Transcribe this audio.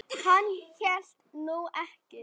Hann hélt nú ekki.